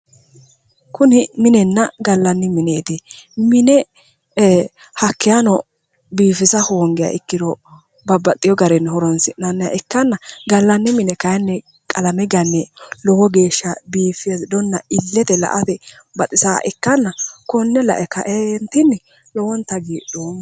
kuni minenna gallanni mineeti mine hakkeeshshano biifisa hoongiha ikkirono babbaxewo garinni horonsi'nanniha ikkanna gallanni mine kayiinni qalame ganne lowo geeshsha biifadonna illete la'ate baxisaaha ikkanna konne lae kaeentinni lowonta hagiidhoomma.